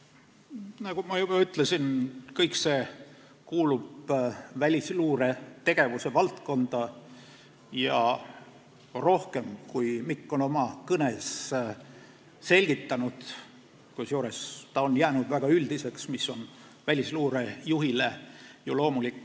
Nagu ma juba ütlesin, see kõik kuulub välisluure tegevusvaldkonda ja rohkem, kui Mikk on oma kõnes selgitanud, kusjuures ta on jäänud väga üldiseks, mis on ju välisluure juhi puhul loomulik.